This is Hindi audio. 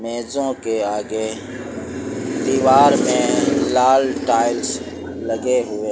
मेजो के आगे दीवार में लाल टाइल्स लगे हुए--